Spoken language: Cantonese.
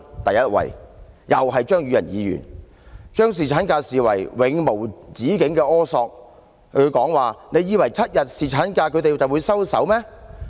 "；第一位冠軍，又是出自張宇人議員，他把要求侍產假視為永無止境的苛索，提到"你以為7天侍產假他們就會收手嗎？